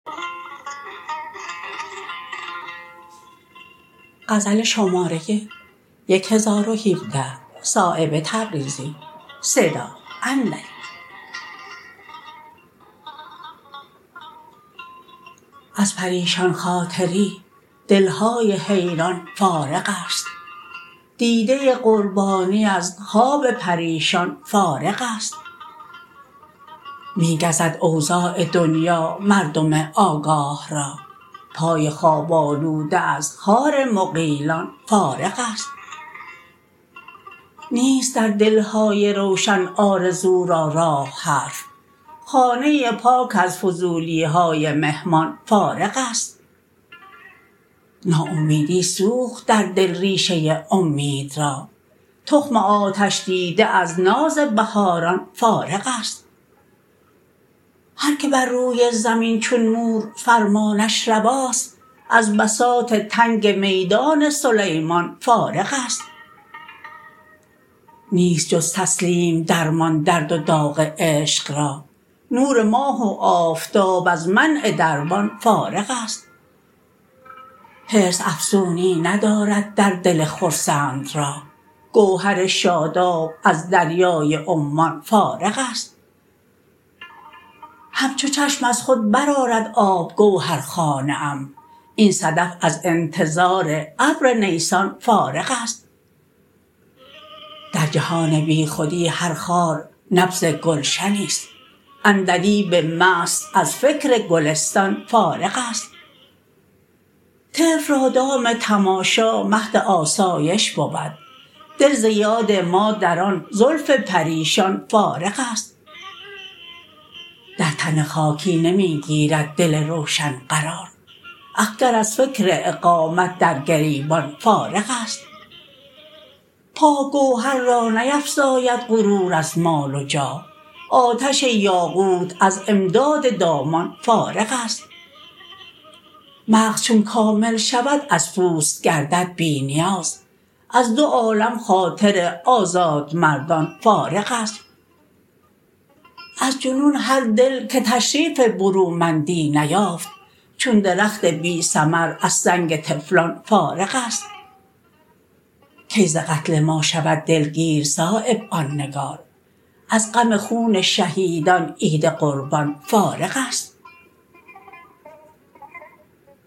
از پریشان خاطری دلهای حیران فارغ است دیده قربانی از خواب پریشان فارغ است می گزد اوضاع دنیا مردم آگاه را پای خواب آلوده از خار مغیلان فارغ است نیست در دلهای روشن آرزو را راه حرف خانه پاک از فضولی های مهمان فارغ است ناامیدی سوخت در دل ریشه امید را تخم آتش دیده از ناز بهاران فارغ است هر که بر روی زمین چون مور فرمانش رواست از بساط تنگ میدان سلیمان فارغ است نیست جز تسلیم درمان درد و داغ عشق را نور ماه و آفتاب از منع دربان فارغ است حرص افزونی ندارد در دل خرسند راه گوهر شاداب از دریای عمان فارغ است همچو چشم از خود برآرد آب گوهر خانه ام این صدف از انتظار ابر نیسان فارغ است در جهان بیخودی هر خار نبض گلشنی است عندلیب مست از فکر گلستان فارغ است طفل را دام تماشا مهد آسایش بود دل زیاد ما در آن زلف پریشان فارغ است در تن خاکی نمی گیرد دل روشن قرار اخگر از فکر اقامت در گریبان فارغ است پاک گوهر را نیفزاید غرور از مال و جاه آتش یاقوت از امداد دامان فارغ است مغز چون کامل شود از پوست گردد بی نیاز از دو عالم خاطر آزاد مردان فارغ است از جنون هر دل که تشریف برومندی نیافت چون درخت بی ثمر از سنگ طفلان فارغ است کی ز قتل ما شود دلگیر صایب آن نگار از غم خون شهیدان عید قربان فارغ است